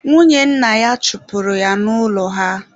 Nwunye nna ya chụpụrụ ya n'ụlọ ha.